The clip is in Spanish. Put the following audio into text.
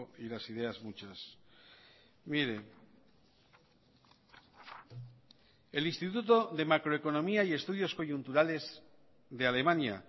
y las ideas muchas mire el instituto de macroeconomía y estudios coyunturales de alemania